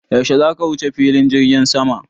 Yaushe zaka wuce filin jirgin sama?